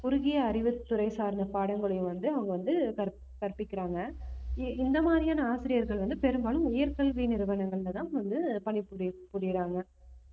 குறுகிய அறிவுத்துறை சார்ந்த பாடங்களையும் வந்து அவங்க வந்து கற்~ கற்பிக்கிறாங்க இ~ இந்த மாதிரியான ஆசிரியர்கள் வந்து பெரும்பாலும் உயர் கல்வி நிறுவனங்கள்லதான் வந்து பணி~ பணிபுரியுறாங்க